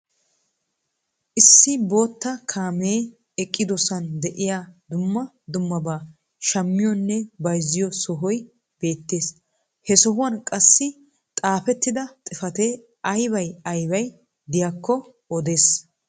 Issi bootta kaamee eqqidosan de'iyaa dumma dummabaa shaammiyoonne bayzziyoo sohoy beettees. He sohuwaan qassi xaafettida xifatee aybay aybay diyaakko odees.